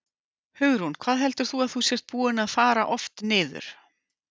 Hugrún: Hvað heldur þú að þú sért búinn að fara oft niður?